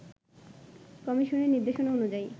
কমিশনের নিদের্শনা অনুযায়ী